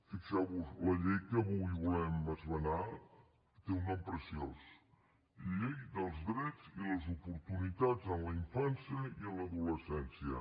fixeu vos la llei que avui volem esmenar té un nom preciós llei dels drets i les oportunitats en la infància i en l’adolescència